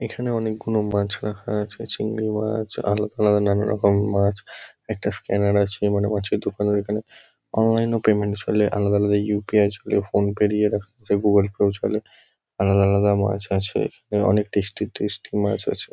এখানে অনেকগুনো মাছ রাখা আছে। চিংড়ি মাছ আরও নানারকমের মাছ একটা স্ক্যানার আছে। মানে মাছের দোকানের ওখানে অনলাইন - এ পেমেন্ট চলে অনলাইন - এ ইউ .পি .আই চলে ফোন পে - র ইয়ে রাখা আছে গুগল পে - ও চলে। আলাদা আলাদা মাছ আছে এবং অনেক টেস্টি টেস্টি মাছ আছে ।